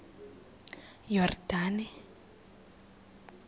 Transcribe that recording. yordane